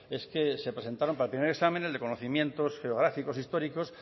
es que se presentaron para el primer examen el de conocimientos geográficos e históricos